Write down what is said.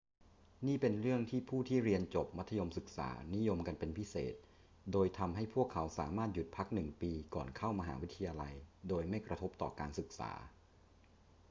นี่เป็นเรื่องที่ผู้ที่เรียนจบมัธยมศึกษานิยมกันเป็นพิเศษ โดยทำให้พวกเขาสามารถหยุดพักหนึ่งปีก่อนเข้ามหาวิทยาลัยโดยไม่กระทบต่อการศึกษา